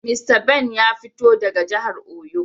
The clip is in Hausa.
Mista Ben ya fito daga jihar oyo.